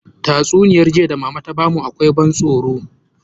Tatsuniyar jiya da mama ta bamu akwai ban tsoro